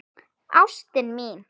Ástin mín